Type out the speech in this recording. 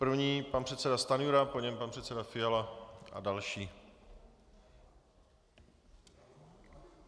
První pan předseda Stanjura, po něm pan předseda Fiala a další.